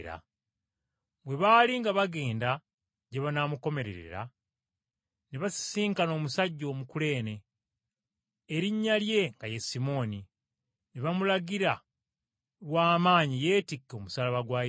Bwe baali nga bagenda gye banaamukomerera, ne basisinkana omusajja omukuleene, erinnya lye nga ye Simooni, ne bamulagira lwa maanyi yeetikke omusaalaba gwa Yesu.